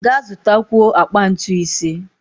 Ga zụtakwuo akpa ntu ise!